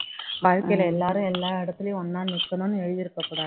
வாழ்க்கையில எல்லாரும் எல்லா இடத்துலயும் ஒண்ணா நிக்கணும்னு எழுதி இருக்க கூடாது